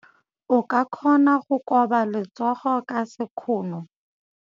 O ka kgona go koba letsogo ka sekgono.